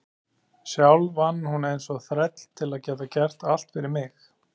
Sjálf vann hún eins og þræll til að geta gert allt fyrir mig.